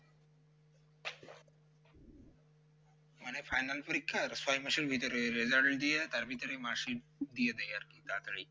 মান final পরীক্ষার ছয় মাসের ভিতরে result দিয়ে তার ভিতরে mark sheet দিয়ে দেয় আর কি তাড়াতাড়ি